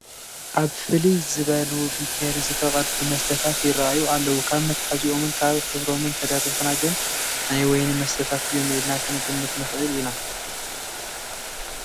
ኣብ ፍልይ ዝበሉቢኬሪ ዝተቐድሑ መስተታት ይርአዩ ኣለዉ፡፡ ካብ መትሓዚኦምን ካብ ሕብሮምን ተደሪኽና ግን ናይ ወይኒ መስተታት እዮም ኢልና ክንግምት ንኽእል ኢና፡፡